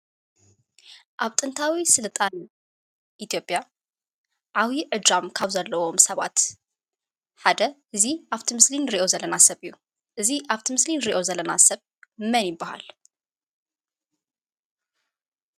አብ ጥንታዊ ስልጣን ኢትዮጵያ ዓብይ ዕጫን ካብ ዘለዎም ሰባት ሓደ እዚ አፍቲ ምስሊ እንሪኦ ዘለና ሰብ እዩ፡፡ እዚ አፍቲ ምስሊ እንሪኦ ዘለና ሰብ መን ይበሃል?